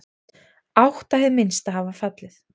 Átta hið minnsta hafa fallið.